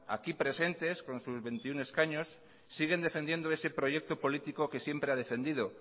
aquí presentes con sus veintiuno escaños siguen defendiendo ese proyecto político que siempre ha defendido